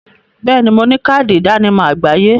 Bẹẹ ni, mo ní káàdì ìdánimọ̀ àgbáyé